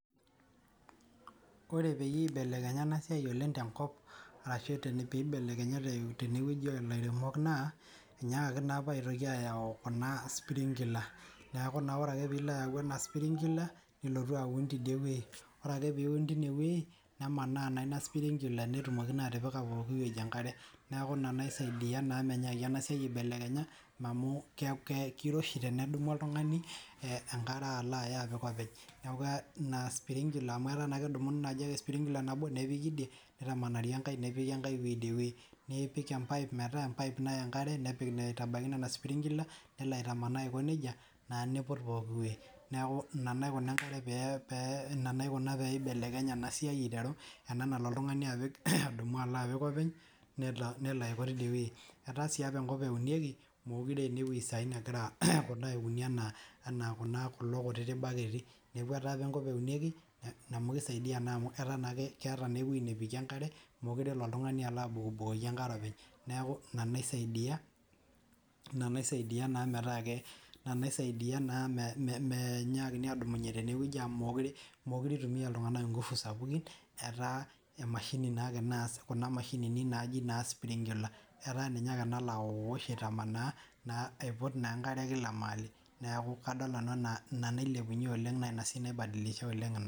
Kore pee eibelekenya ena siai oleng' tenkpo ashuu peibelekenye tene weii oo lairemok naa enyiaakaki naa apa aitoki ayau kuna spirinkila neeku ore akee pee ilo ayau ena spinkler nilotu aun teidie wei oree akee pee iun teine wei nemaana naa ina sprinkler peetumoki naa atipika enkare kila ewei neeku ina naisaidia ina menyaaki ena siai aibelekenya amu keiroshi tenedumu oltung'ani enkare alo ayaa apik eweji neeku ina sprinkler nipik empaip metaa empaip nayaa enkare neepik naa aitabaki nena sprinkler nelo aitamanaa naa aiko nejia neiput pooki weii neeku ina naikuna enkare peeibelekenye ena siai ena nalo oltung'ani adumu alo apik openy nelo aiko teidie wei etaa sii apa enkop epikieki mekuure aa kulo kutitik baketi neeku etaa apa enkop apikieki amu keisaidia naa amu ataa naa ake ketaa naa ake nepikie enkare mekure elo oltung'ani alo abukoki enkare openy neeku ina naisaidia naa metaa meinyakini adupunye teneweji amu mekure eitumia iltung'anak inkufu sapukin etaa emashini naa ake naas kuna mashinini naaji naa sprinkler etaa ninye ake nalo awosh aitamnaa aiput naa enkare kila ewei neeku kadol nanu enaa ina nailepunye oleng' ina.